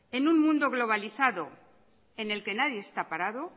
en un mundo globalizado en el que nadie está parado